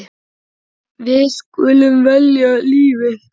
Við skulum velja lífið.